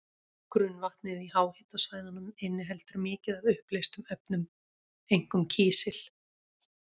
Grunnvatnið í háhitasvæðunum inniheldur mikið af uppleystum efnum, einkum kísil.